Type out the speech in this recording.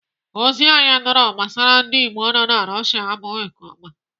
Ozi anyị nụrụ gbasara ndị Igbo nọ na Russia abụghị nke ọma.